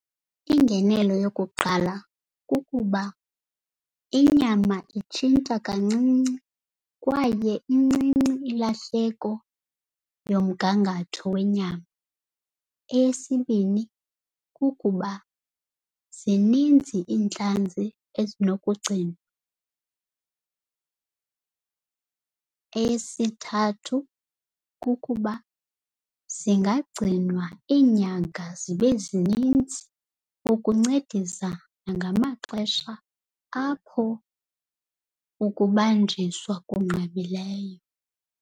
Ingenelo yokuqala kukuba inyama itshintsha kancinci kwaye incinci ilahleko yomgangatho wenyama. Eyesibini, kukuba zininzi iintlanzi ezinokugcinwa. Eyesithathu, kukuba zingagcinwa iinyanga zibe zininzi ukuncedisa nangamaxesha apho ukubanjiswa kunqabileyo.